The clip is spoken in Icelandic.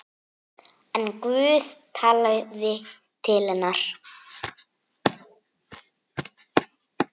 En Guð talaði til hennar.